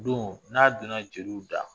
Don n'a donna jeliw da